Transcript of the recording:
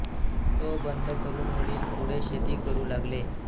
तो बंद करून वडील पुढे शेती करू लागले